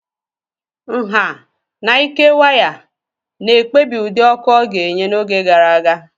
Nha and ike waya na-ekpebi ụdị ọkụ ọ ga-enye n'oge gara aga.